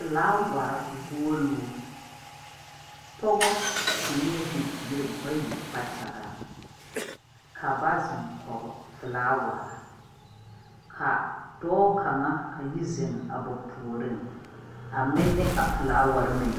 Felawarr guolluu. Pɔgebɔ zeŋɛɛɛ bibiir bayi kpakyagaŋ, ka ba zeŋ kɔge felaawarr. Ka dɔɔ kaŋa a yi zeŋ a ba puoriŋ, a menne a felaawarr mine.